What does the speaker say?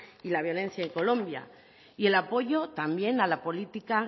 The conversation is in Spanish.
y la violencia en colombia y el apoyo también a la política